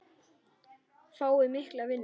Fái mikla vinnu.